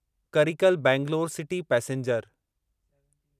Karikal Bangalore city passenger